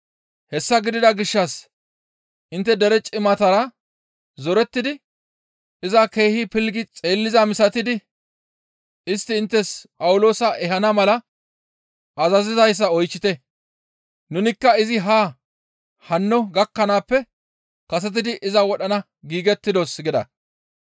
Hessa gidida gishshas intte dere cimatara zorettidi iza keehi pilggi xeellizaa misatidi istti inttes Phawuloosa ehana mala azazizayssa oychchite; nunikka izi haa hanno gakkanaappe kasetidi iza wodhana giigettidos» gida.